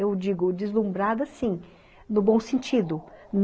Eu digo deslumbrada, sim, no bom sentido.